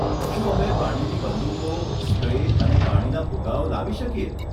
શું અમે પાણીની બંદૂકો, સ્પ્રે અને પાણીના ફુગ્ગાઓ લાવી શકીએ?